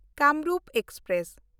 Kamrup express